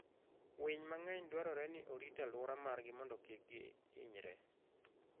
Winy mang'eny dwarore ni orit aluora margi mondo kik gi inyre.